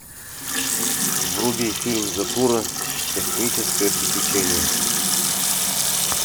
вруби фильм затура космическое приключение